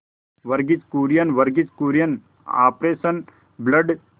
Verghese Kurien Verghese Kurien operation blood